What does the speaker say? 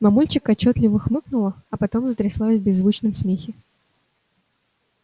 мамульчик отчётливо хмыкнула а потом затряслась в беззвучном смехе